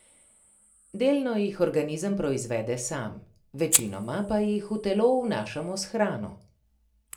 Delno jih organizem proizvede sam, večinoma pa jih v telo vnašamo s hrano.